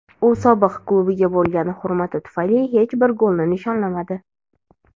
u sobiq klubiga bo‘lgan hurmati tufayli hech bir golni nishonlamadi.